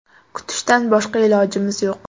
Kutishdan boshqa ilojimiz yo‘q.